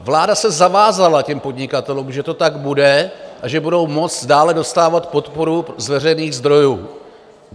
Vláda se zavázala těm podnikatelům, že to tak bude a že budou moci dále dostávat podporu z veřejných zdrojů.